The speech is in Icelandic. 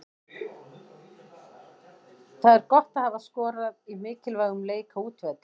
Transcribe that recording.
Það er gott að hafa skorað í mikilvægum leik, á útivelli.